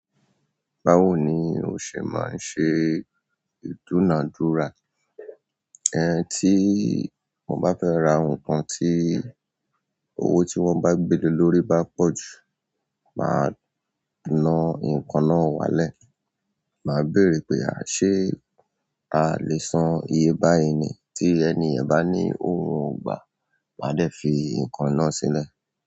Báwo ni o se maa n se iduna dura. Ẹ̀ ẹ́ tí mo bá fẹ́ ra nǹkan tí owó tí wọ́n bá gbé ló lórí bá pọ̀ jù, mà á na nǹkan náà wálẹ̀. Mà á bèèrè pé, a à ṣé a lè san iye bá yi ni tí ẹniye ba ní òun ò gbà, màá de fi nǹkan náà sílẹ̀.